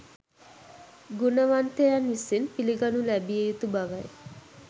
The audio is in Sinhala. ගුණවන්තයන් විසින් පිළිගනු ලැබිය යුතු බවයි